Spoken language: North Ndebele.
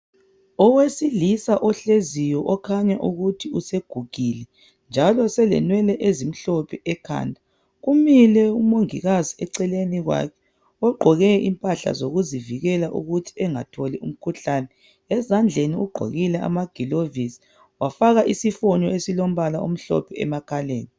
Owesilisa ohleziyo okhanya ukuthi usegugile njalo selenwele ezimhlophe ekhanda kumile umongikazi eceleni kwakhe ogqoke impahla zokuzivikela ukuthi engatholi umkhuhlane ezandleni ugqokile amagilovisi wafaka isifonyo esilombala omhlophe emakhaleni.